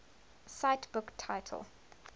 cite book title